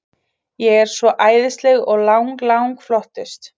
Ég er svo æðisleg og lang, lang flottust.